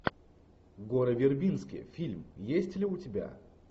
гора вербински фильм есть ли у тебя